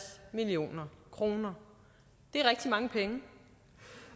million kroner det er rigtig mange penge